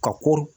Ka ko